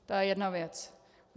To je jedna věc.